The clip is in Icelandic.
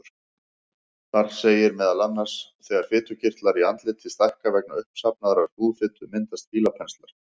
Þar segir meðal annars: Þegar fitukirtlar í andliti stækka vegna uppsafnaðrar húðfitu myndast fílapenslar.